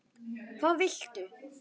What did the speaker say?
Hvað viltu?